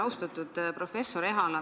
Austatud professor Ehala!